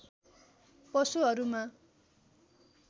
पशुहरूमा